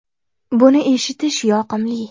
Buni eshitish yoqimli.